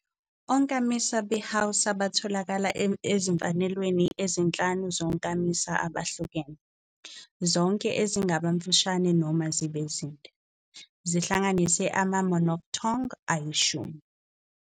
Onkamisa beHausa batholakala ezimfanelweni ezinhlanu zonkamisa abahlukene, zonke ezingaba mfushane noma zinde, zihlanganise ama- monophthong ayishumi.